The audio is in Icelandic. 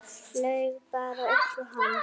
Laug bara upp á hann.